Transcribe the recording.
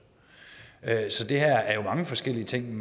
så det her er jo mange forskellige ting